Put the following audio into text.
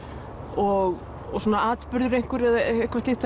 og svona atburður eða eitthvað slíkt